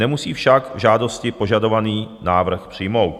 Nemusí však žádostí požadovaný návrh přijmout.